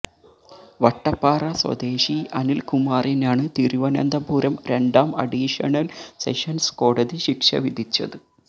വട്ടപ്പാറ സ്വദേശി അനിൽകുമാറിനാണ് തിരുവനന്തപുരം രണ്ടാം അഡീഷണൽ സെഷൻസ് കോടതി ശിക്ഷ വിധിച്ചത്